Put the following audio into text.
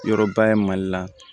Yɔrɔba ye mali la